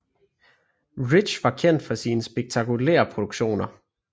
Rich var kendt for sine spektakulære produktioner